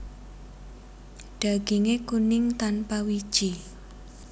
Daginge kuning tanpa wiji